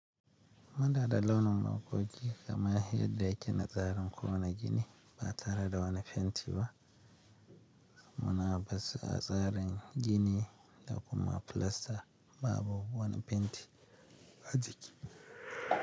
Muna da launin maƙogi, kamar yadda yake na tsarin kowane gini, ba tare da wani fenti ba. Muna basa tsarin gini da kuma filasta babu wani fenti a ciki.